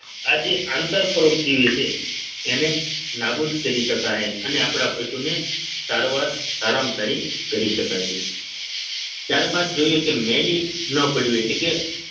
આજે આંતરપરોપજીવી છે એને નાબૂદ કરી શકાય અને આપણા પશુને સારવાર સારામાં સારી કરી શકાશે ત્યારબાદ જોઈએ કે મેલી ન પપાડવી એટલે કે